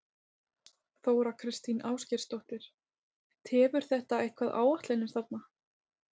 Þóra Kristín Ásgeirsdóttir: Tefur þetta eitthvað áætlanir þarna?